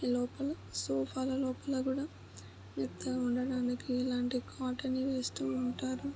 లోపల సోఫా ల లోపల కూడా మెత్తగా ఉండడానికి ఇలాంటి కాటన్ వి వేస్తూ ఉంటారు.